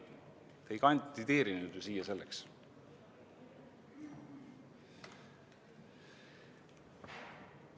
Ei, te ei kandideerinud siia ju selleks.